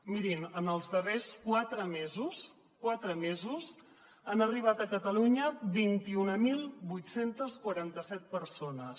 mirin en els darrers quatre mesos quatre mesos han arribat a catalunya vint mil vuit cents i quaranta set persones